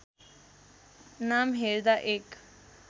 नाम हेर्दा एक